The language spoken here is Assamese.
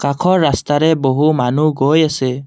কাষৰ ৰাস্তাৰে বহু মানুহ গৈ আছে।